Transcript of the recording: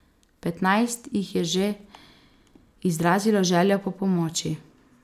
Petnajst jih je že izrazilo željo po pomoči.